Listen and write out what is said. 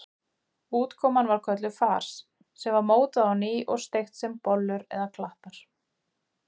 Útkoman var kölluð fars sem var mótað á ný og steikt sem bollur eða klattar.